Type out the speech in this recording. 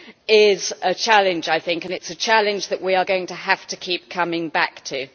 is a challenge, and it is a challenge that we are going to have to keep coming back to.